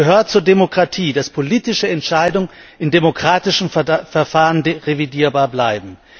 Es gehört zur Demokratie, dass politische Entscheidungen in demokratischen Verfahren revidierbar bleiben.